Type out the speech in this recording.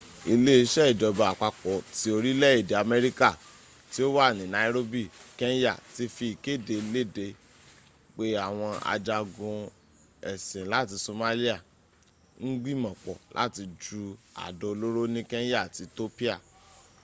ile ise ijoba apapo ti orile ede amerika ti o wa ni nairobi kenya ti fi ikede lede pe awon ajagun esin lati somalia n gbimopo lati ju ado oloro ni kenya ati ethiopia